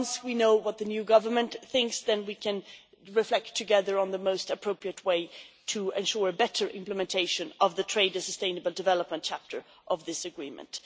Once we know what the new government thinks, we can reflect together on the most appropriate way to ensure better implementation of the trade and sustainable development chapter of this agreement.